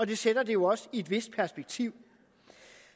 det sætter det jo også i et vist perspektiv